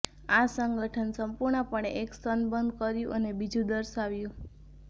આ સંગઠન સંપૂર્ણપણે એક સ્તન બંધ કર્યું અને બીજું દર્શાવ્યું